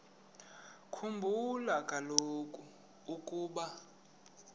khumbula kaloku ukuba